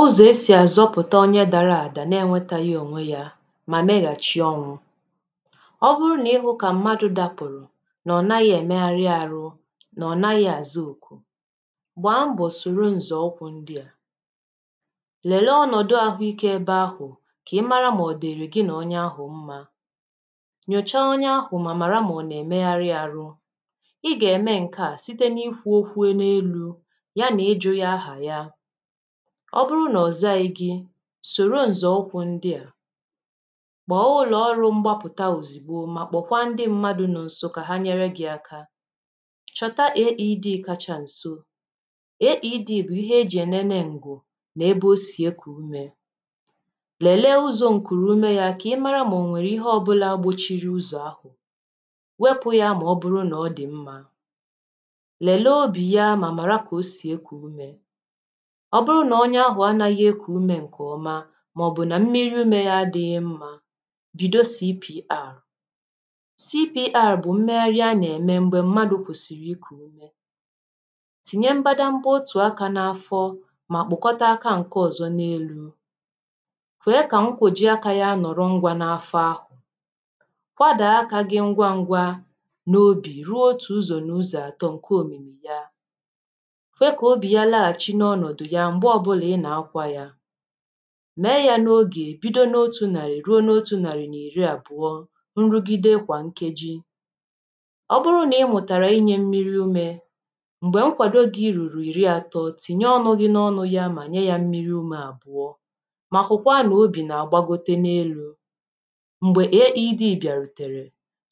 ụzọ̀ esì azọpụ̀ta onye dara àdà na-enwetaghị ònwe yȧ mà meghàchi ọnwụ. Obụrụ nà ihụ̇ kà mmadụ̇ dapụ̀rụ̀ nà ọ̀ naghị̇ èmegharị arụ nà ọ̀ naghị̇ àzị òkù, gbàa mbọ̀ sòrò ǹzọ̀ ụkwụ̇ ndị àmà, lèlee ọnọ̀dụ ahụikė ebe ahụ̀, kà ị mara mà ọ̀ diri gị nà onye ahụ̀ mma, nyòcha onye ahụ̀ mà màrà mà ọ̀ nà-èmegharị arụ. ịga-eme nkea sitena ikwu okwu n'elu ya na ịjụ ya ahà ya, ọ bụrụ nà ọ̀zaghi gị, sòro ǹzọ̀ ụkwụ̇ ndị à: kpọọ ụlọ̀ọrụ̇ mgbapụ̀ta òzìgbo mà kpọ̀kwa ndị mmadụ̇ nọ̀ nsọ kà ha nyere gị̇ aka, chọta AED kacha nso AED bụ̀ ihe e jì ènene ǹgwù nà ebe o sì ekù ume, lèlee uzọ̇ ǹkùrù ume yȧ ka ị mara mà ò nwèrè ihe ọbụla gbochiri uzọ̀ ahụ, wepụ̇ ya mà ọ bụrụ nà ọ dì mmȧ, lelee obi ya ma mara ka ọ si eku ume, ọ bụrụ na onye ahụ̀ anȧghị̇ ekù umė ǹkè ọma màọ̀bụ̀ nà mmiri̇ ume ya dị̇ mma, bido CPR CPR bụ̀ mmeghari anà -ème m̀gbè mmadụ̀ kwusìrì ikù umė, tìnye mbadamba otù akȧ n’afọ mà kpokọta akȧ ǹke ọ̀zọ n’elu̇, kwe kà nkwụ̀ji akȧ ya nọ̀rọ ngwȧ n’afọ ahụ̀, kwadàa akȧ gị ngwa ngwȧ n’obì ruo otù ụzọ̀ n’ụzọ̀ àtọ ǹke òmìmì ya, kwe ka ya nọghaghị n'ọnọdụ ya m̀gbè ọbụlà ị nà-akwa yȧ, mèe yȧ n’oge bido n’otu̇ nàrì ruo n’otu̇ nàrì na ìri àbụ̀ọ nrugide kwà nkeji, ọ bụrụ nà ị mụ̀tàrà inyė mmiri umė m̀gbè nkwàdo gị̇ rùrù ìri àtọ, tìnye ọnụ gị̇ n’ọnụ̇ ya mà nye yȧ mmiri umė àbụ̀ọ mà hụ̀kwa n' obì nà-àgbagote n’elu̇, m̀gbè AED bịàrùtèrè,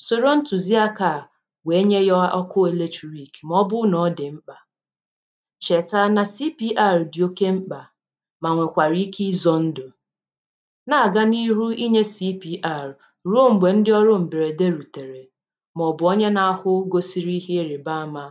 sòrò ntùziakȧà wèe nye yȧ ọkụ electric mà ọbụlụ̀ nà ọ dị̀ mkpà, cheta na CPR dị oké mkpa ma nwekwara ike izọ ndụ̀, na-aga n’iru inye cpr ruo mgbe ndị ọrụ mberede rutere maọbụ onye na-ahụ gosiri ihe ịrịba ama.